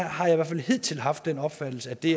har i hvert fald hidtil haft den opfattelse at det